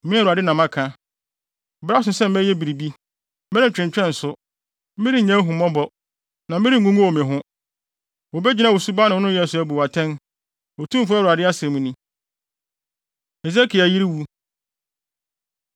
“ ‘Me Awurade na maka. Bere aso sɛ meyɛ biribi. Merentwentwɛn so; merennya ahummɔbɔ, na merengugow me ho. Wobegyina wo suban ne wo nneyɛe so abu wo atɛn, Otumfo Awurade asɛm ni.’ ” Hesekiel Yere Wu